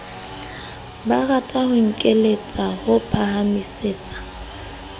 barata ho nkeletsa ho phahamisetsa